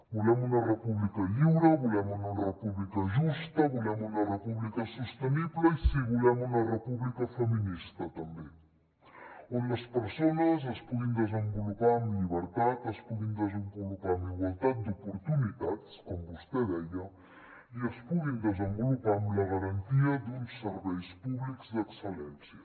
volem una república lliure volem una república justa volem una república sostenible i sí volem una república feminista també on les persones es puguin desenvolupar amb llibertat es puguin desenvolupar amb igualtat d’oportunitats com vostè deia i es puguin desenvolupar amb la garantia d’uns serveis públics d’excel·lència